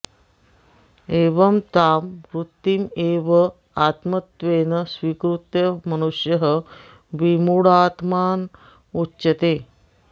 एवं तां वृत्तिम् एव आत्मत्वेन स्वीकृत्यः मनुष्यः विमूढात्मा उच्यते